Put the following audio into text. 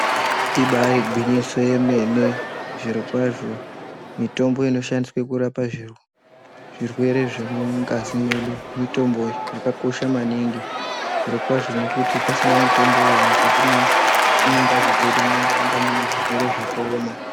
Ibarigwinyiso yemene zvirokwazvo mitombo inoshandiswe kurapa zvirwere zvemungazi mwedu mitombo yakakosha maningi. Zvirokwazvo nekuti pasina mitomboyo mukati mengazi dzedu munoramba mune zvirwere zvakaoma.